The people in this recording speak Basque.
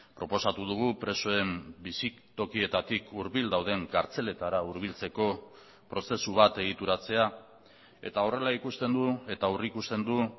proposatu dugu presoen bizitokietatik hurbil dauden kartzeletara hurbiltzeko prozesu bat egituratzea eta horrela ikusten du eta aurrikusten du